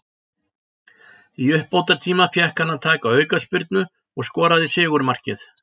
Í uppbótartíma fékk hann að taka aukaspyrnu og skoraði sigurmarkið.